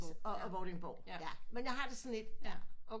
Og Vordingborg ja men jeg har det sådan lidt